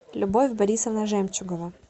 любовь борисовна жемчугова